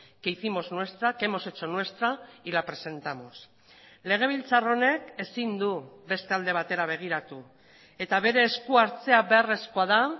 que hicimos nuestra que hemos hecho nuestra y la presentamos legebiltzar honek ezin du beste alde batera begiratu eta bere eskuhartzea beharrezkoa da